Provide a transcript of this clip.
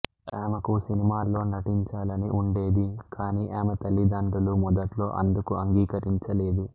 ఆమెకు సినిమాల్లో నటించాలని ఉండేది కానీ ఆమె తల్లిండ్రులు మొదట్లో అందుకు అంగీకరించలేదు